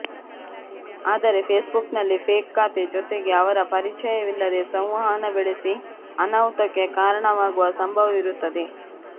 ಆದರೆ ಫೇಸ್ಬುಕ್ನಲ್ಲಿ ಫೇಕ್ ಖಾತೆ ಜೊತೆಗೆ ಅವರ ಪರಿಚಯ ವಿಲ್ಲದೇ ಸಂವಹನ ಬೆಳೆಸಿ ಅನಾಹುತಕ್ಕೆ ಕಾರಣವಾಗುವ ಸಂಭವವಿರುತ್ತದೆ